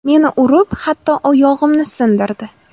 Meni urib, hatto oyog‘imni sindirdi.